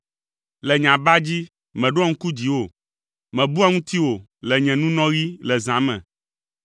Le nye aba dzi, meɖoa ŋku dziwò, mebua ŋutiwò le nye ŋunɔɣi le zã me.